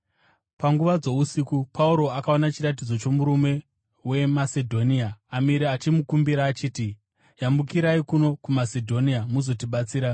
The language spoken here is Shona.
Panguva dzousiku, Pauro akaona chiratidzo chomurume weMasedhonia amire achimukumbira achiti, “Yambukirai kuno kuMasedhonia muzotibatsira.”